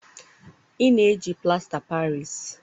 ị na-eji plasta paris?